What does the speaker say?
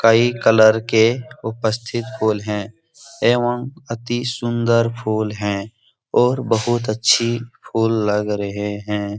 कई कलर के उपस्थित फूल है एवं अति सुन्दर फूल है और बहुत अच्छी फूल लग रहे हैं।